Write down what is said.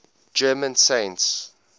german saints